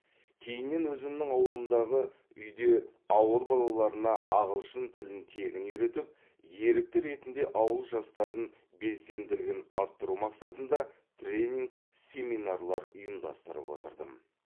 кейіннен өзімнің ауылымдағы үйде ауыл балаларына ағылшын тілін тегін үйретіп ерікті ретінде ауыл жастарын белсенділігін арттыру мақсатында тренинг семинарлар ұйымдастырып отырдым